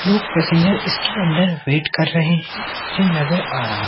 लोग पैसेंजर इसके अंदर वेट कर रहे हैं मुझे नजर आ रहा--